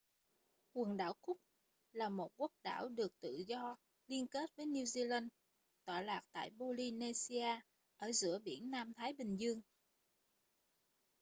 quần đảo cook là một quốc đảo được tự do liên kết với new zealand tọa lạc tại polynesia ở giữa biển nam thái bình dương